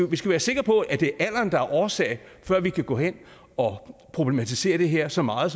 vi skal være sikre på at det er alderen der er årsag før vi kan gå hen og problematisere det her så meget